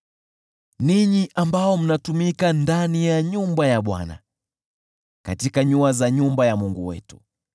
ninyi ambao mnatumika ndani ya nyumba ya Bwana , katika nyua za nyumba ya Mungu wetu.